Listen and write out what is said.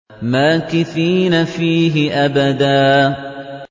مَّاكِثِينَ فِيهِ أَبَدًا